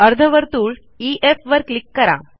अर्धवर्तुळ ईएफ वर क्लिक करा